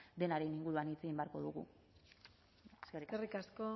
denaren inguruan hitz egin beharko dugu eskerrik asko